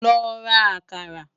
Lò rá àkàrá